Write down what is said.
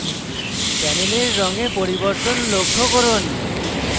panel রঙে পরিবর্তন লক্ষ্য করুন